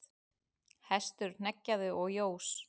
Hestur hneggjaði og jós.